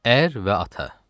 Ər və ata.